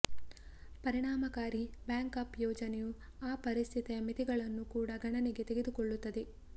ಪರಿಣಾಮಕಾರಿ ಬ್ಯಾಕ್ಅಪ್ ಯೋಜನೆಯು ಆ ಪರಿಸ್ಥಿತಿಯ ಮಿತಿಗಳನ್ನು ಕೂಡ ಗಣನೆಗೆ ತೆಗೆದುಕೊಳ್ಳುತ್ತದೆ